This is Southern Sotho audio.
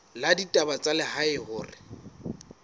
la ditaba tsa lehae hore